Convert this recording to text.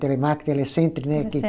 Telemark, Telecenter, né?